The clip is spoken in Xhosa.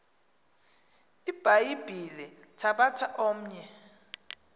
ibhayibhile thabatha omnye